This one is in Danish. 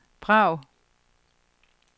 Prag